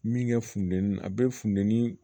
Min kɛ funteni na a bɛ funteni